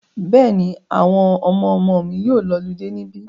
Bẹ́ẹ̀ni, àwọn ọmọmọ mi yóò lọludé níbí.